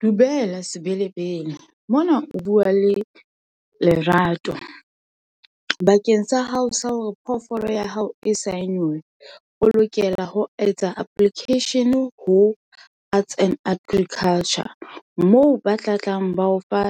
Dumela Sebelebele. Mona o bua le Lerato. Bakeng sa hao sa hore phoofolo ya hao e sign-unwe, o lokela ho etsa application-e ho arts and agriculture moo ba tlatlang ba o fa